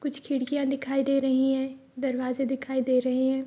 कुछ खिड़कियाँ दिखाई दे रहीं हैं। दरवाजे दिखाई दे रहे हैं।